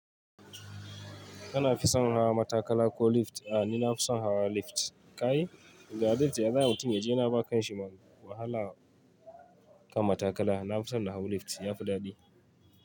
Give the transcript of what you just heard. Kana fi son hawa matakala ko lift? A ni nafi son hawa lift. Ka yi? Ga lift ya za'ayi mutum yaje yana bawa kanshi wahala kan matakala. Na fi son na hau lift, ya fi daɗi.